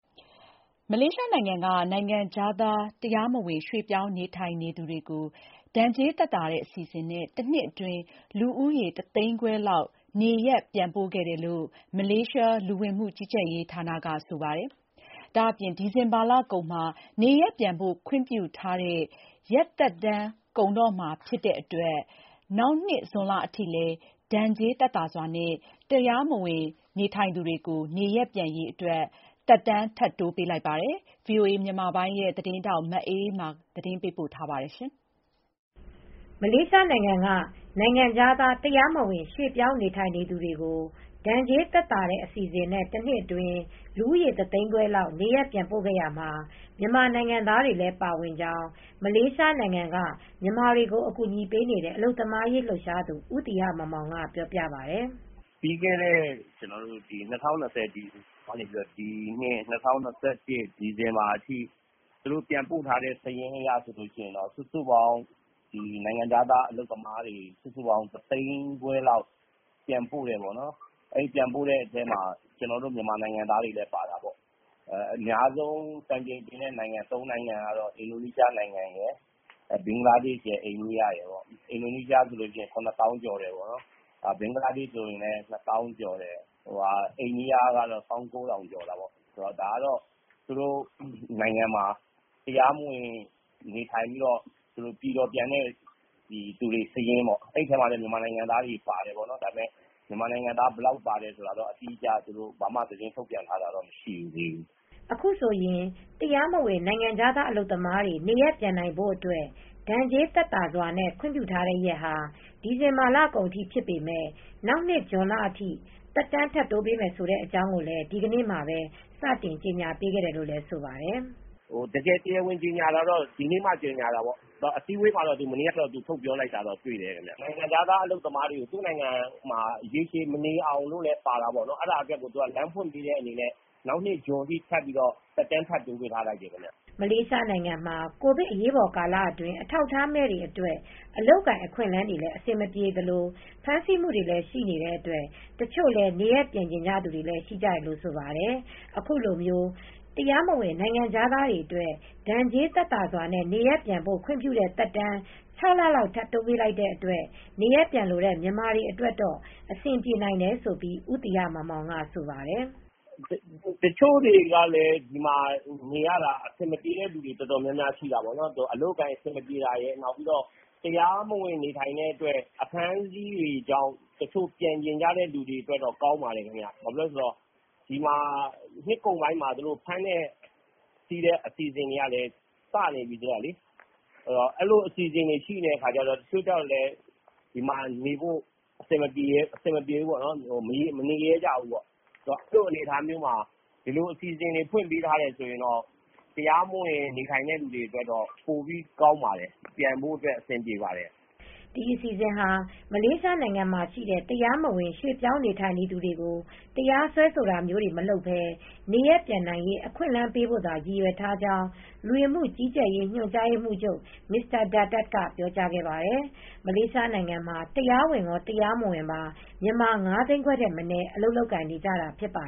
မလေးရှားနိုင်ငံက နိုင်ငံခြားသားတရားမဝင်ရွှေပြောင်းနေထိုင်နေသူတွေကို ဒဏ်ကြေးသက်သာတဲ့အစီစဉ်နဲ့ တနှစ်အတွင်း လူဦးရေတသိန်းခွဲလောက်နေ ရပ်ပြန်ပို့ခဲ့တယ်လို့ မလေးရှားလူဝင်မူ့ကြီးကြပ်ရေးဌာနကဆိုပါတယ်။ ဒါအပြင် ဒီဇင်ဘာလကုန်မှာ နေရပ်ပြန်ဖို့ ခွင့်ပြုထားတဲ့ ရက်သက်တမ်းကုန်တော့မှာဖြစ်တဲ့အတွက် နောက်နှစ် ဇွန်လအထိလည်းဒဏ်ကြေးသက်သာစွာနဲ့ တရားမဝင်တွေနေ ရပ်ပြန်နိုင်ရေး အတွက်သက်တမ်းထပ်တိုးပေးလိုက်ပါတယ်။ ဒီသတင်းကိုဗွီအိုအေသတင်းထောက်မအေးအေးမာကသတင်းပေးပို့ ထားပါတယ်။ မလေးရှားနိုင်ငံက နိုင်ငံခြားသားတရားမဝင်ရွှေပြောင်းနေထိုင်နေသူတွေကို ဒဏ်ကြေးသက်သာတဲ့အစီစဉ်နဲ့ တနှစ်အတွင်း လူဦးရေတသိန်းခွဲလောက်နေ ရပ်ပြန်ပို့ခဲ့ရာမှာ မြန်မာနိုင်ငံသားတွေလည်းပါဝင်ကြောင်း မလေးရှားနိုင်ငံက မြန်မာတွေကိုအကူညီပေးနေတဲ့ အလုပ်သမားရေးလှုပ်ရှား သူဦးသီဟမောင်မောင် ကပြောပါတယ်။ "ပြီးခဲ့တဲ့ ၂၀၂၀ ဒီဇင်ဘာလကနေ ဒီနှစ်၂၀၂၁ဒီဇင်ဘာလအထိသူတို့ပြန်ပို့ထားတဲ့ စာရင်းအရစုစုပေါင်းနိုင်ငံခြားသား အလုပ်သမားတွေ စုစုပေါင်း တသိန်းခွဲလောက်ပြန်ပို့ တဲ့အထဲမှာကျနော်တို့မြန်မာနိုင်ငံသားတွေလည်းပါတာပေါ့ အများဆုံး စံချိန်တင်တဲ့နိုင်ငံ ကတော့ အင်ဒိုနီးရှား။ ဘင်္ဂလားဒေ့ရှ်နဲ့ အိန္ဒိယ ၃နို်င်ငံပါတယ်။ အင်ဒိုနီးရှားဆို ၇ သောင်းကျော်တယ်။ ဘင်္ဂလားဒေ့ရှ်ကတော့ ၂သောင်းကျော်တယ်။ အန္ဒိယက တော့ ၁၉,၀၀၀ ကျော်တာပေါ့။ သူတို့ဆီမှာတရားမဝင်နေ တဲ့ပြည်တော်ပြန်တဲ့ စာရင်းပေါ့။ အဲဒီထဲမှာလည်း မြန်မာတွေလည်းပါတယ် ။မြန်မာတွေဘယ်လောက်ပါတယ် ဆိုတာတော့ သူတို့အတိအကျသတင်း ထုတ်ပြန်တာတော့မရှိသေးဘူး။" အခုဆိုရင် တရားမဝင်နိုင်ငံခြားသားအလုပ်သမားတွေနေရပ်ပြန်နိုင်ဖို့အတွက် ဒဏ်ကြေးသက်သာစွာနဲ့ခွင့်ပြုထားတဲ့ရက်ဟာ ဒီဇင်ဘာလကုန်အထိ ဖြစ်ပေမယ့် နောက်နှစ် ဇွန်လအထိ သက်တမ်းထပ်တိုးပေးတယ်ဆိုတဲ့အကြောင်းကိုလည်း မနေ့က စတင်ကြေငြာပေးခဲ့တယ်လို့ဆိုပါတယ်။ "တရားဝင်ကြေငြာတာကတော့ဒီနေ့ (ဒီဇင်ဘာလ ၁၃ ရက်) မှစပြီးကြေညာပါတယ်။ အစည်းဝေးမှာမနေ့ကစပြီးပြောတယ်။ တရားမဝင်နိုင်ငံခြားသားအလုပ်သမားတွေ သူ့နိုင်ငံမှာရေရှည်မနေအောင်လို့လည်းပါတာပေါ့။ ဒါကိုလမ်းဖွင့်ပေးတဲ့အနေနဲ့ နောက်နှစ် ဇွန်လအထိလမ်းဖွင့်ပေးထားပါတယ်။" မလေးရှားနိုင်ငံမှာကိုဗစ် အရေးပေါ်ကာလအတွင်း အထောက်အထားမဲ့တွေအတွက် အလုပ်အကိုင်အခွင့် အလန်းတွေလည်း အဆင် မပြေသလို ဖမ်းဆီးမူတွေလည်း ရှိနေတဲ့အတွက် တချို့လည်း နေရပ်ပြန်ချင်ကြတာတွေလည်းရှိကြတယ်လို့ဆိုပါတယ် ။ အခုလိုမျိုး တရားမဝင်နိုင်ငံခြားသားတွေအတွက်ဒဏ်ကြေးသက်သာစွာနဲ့နေရပ်ပြန်နိုင်ဖို့ ခွင်ပြုတဲ့သက်တမ်း ၆လ လောက်ထပ်တိုးပေးလိုက် တဲ့အတွက် နေရပ်ပြန် လိုတဲ့မြန် မာတွေအတွက်တော့အဆင်ပြေနိုင်တယ်ဆိုပြီးဦးသီဟမောင်မောင်ကဆိုပါတယ်။ "တချို့တွေကလည်းအဆင်မပြေတာတွေလည်းရှိတယ်။ အလုပ်အကိုင်အဆင်မပြေတာ ရယ် တရားမဝင်နေထိုင်ရလို့ အဖမ်းအဆီးတွေေ ကြာင့် တချို့ ပြန်ချင်သူတွေအတွက် လည်းကောင်းပါတယ်။ ဒီမှာနှစ်ကုန်ပိုင်းမှာအဖမ်းအဆီးတွေလုပ်ဖို့လည်း စနေပြီ ခင်ဗျ။ အဲဒီလို အစီစဉ်တွေရှိတော့ ဒီမှာလည်း မနေရဲကြတော့ဘူး အဲဒီလိုလမ်းဖွင့်ပေးထားတော့ တရားမဝင်တဲ့သူတွေ အတွက်ပြန်ဖို့တော့ အဆင်ပြေ ပါတယ်။" ဒီအစီစဉ်ဟာ မလေးရှားနိုင်ငံမှာရှိနေတဲ့ တရားမဝင် ရွှေ့ပြောင်းနေထိုင်သူတွေကို တရားစွဲဆိုတာမျိုးမလုပ်ပဲ နေရပ်ပြန်နိုင်ရေး အခွင့်အလမ်းပေးဖို့သာ ရည်ရွယ်ထားကြောင်း လူဝင်မှုကြီးကြပ်ရေး ညွှန်ကြားရေးမှူးချုပ် Mr.Datuk Khairul Dzaimee Daud က ပြောကြားခဲ့ပါတယ်။ မလေးရှားနိုင်ငံမှာ တရားမဝင်ကော တရား မဝင်ပါ မြန်မာ ၅သိန်းခွဲထက်မနည်း အလုပ်လုပ်ကိုင်နေတာဖြစ်ပါ